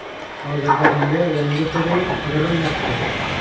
Hozirda unga yangi xo‘jayin qidirilmoqda.